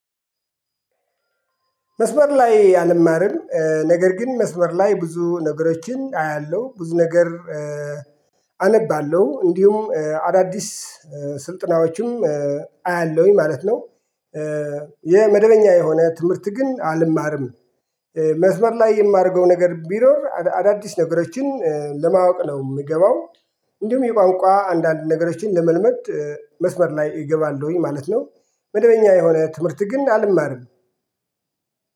መስመር ላይ አልማርም ነገር ግን መስመር ላይ ብዙ ነገሮችን አያለሁ ብዙ ነገር አነባለሁ እንዲሁም አዳዲስ ስልጥናዎችም አያለሁኝ ማለት ነው። የመደበኛ የሆነ ትምህርት ግን አልማርም። መስመር ላይ የማደርገው ነገር ቢኖር አዳዲስ ነገሮችን ለማወቅ ነው የምገባው። እንዲሁም የቋንቋ አንዳንድ ነገሮችን ለመልመድ መስመር ላይ እገባለሁኝ ማለት ነው። መደበኛ የሆነ ትምህርት ግን አልማርም